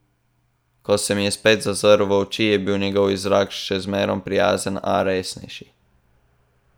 Ko se mi je spet zazrl v oči, je bil njegov izraz še zmerom prijazen, a resnejši.